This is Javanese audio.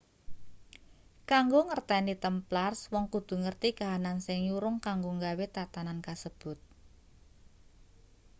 kanggo ngerteni templars wong kudu ngerti kahanan sing nyurung kanggo nggawe tatanan kasebut